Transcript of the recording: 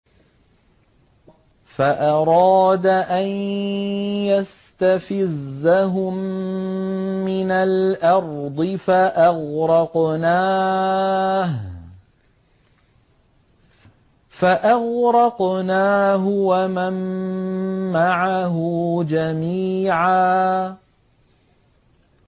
فَأَرَادَ أَن يَسْتَفِزَّهُم مِّنَ الْأَرْضِ فَأَغْرَقْنَاهُ وَمَن مَّعَهُ جَمِيعًا